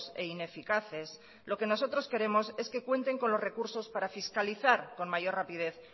e ineficaces lo que nosotros queremos es que cuenten con los recursos para fiscalizar con mayor rapidez